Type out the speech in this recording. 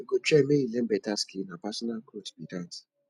you go try make you learn beta skill na personal growth be dat